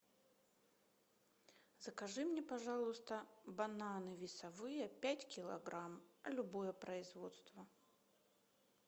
закажи мне пожалуйста бананы весовые пять килограмм любое производство